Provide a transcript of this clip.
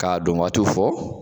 K'a don waatiw fɔ.